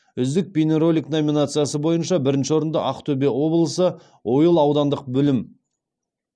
үздік бейнеролик номинациясы бойынша бірінші орынды ақтөбе облысы ойыл аудандық білім